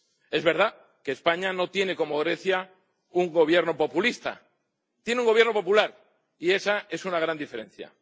Es verdad que España no tiene, como Grecia, un gobierno populista. Tiene un gobierno popular y esa es una gran diferencia.